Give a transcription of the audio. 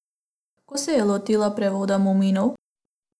Kako se je lotila prevoda muminov?